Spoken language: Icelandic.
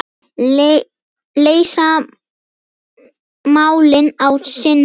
Leysa málin á sinn hátt.